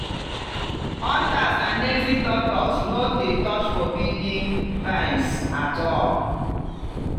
hunters and native doctors no dey touch forbidden vines at all.